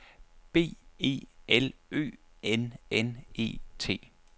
B E L Ø N N E T